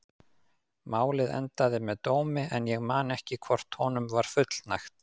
Málið endaði með dómi en ég man ekki hvort honum var fullnægt.